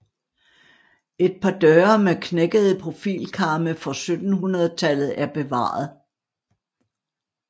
Et par døre med knækkede profilkarme fra 1700 tallet er bevaret